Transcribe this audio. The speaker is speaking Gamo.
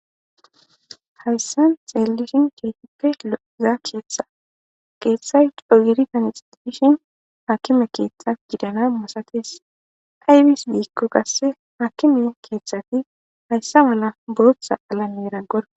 hayssa xeellishin cheefippe o7uzaa keeththa keeththay cogiri tanixedishin hakime keeththa gidana masates aybis diikko kasse hakime keeththati hayssa mala booththa alamera gor.